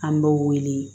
An b'o wele